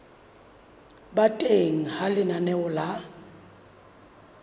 ba teng ha lenaneo la